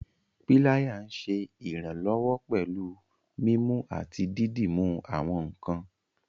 Píláyà nṣé iranlọwọ pẹ̀lú mímú àti dídúmú àwọn nkàn.